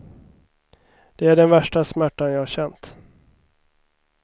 Det är den värsta smärtan jag har känt.